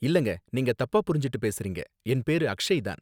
இல்லங்க, நீங்க தப்பா புரிஞ்சுட்டு பேசுறீங்க, என் பேரு அக்ஷய் தான்